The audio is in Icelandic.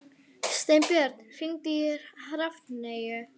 Steinbjörn, hringdu í Hrafneyju.